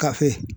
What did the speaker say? Ka fe